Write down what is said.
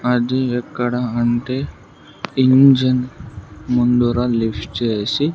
అది ఎక్కడ అంటే ఇంజన్ ముందర లిఫ్ట్ చేసి.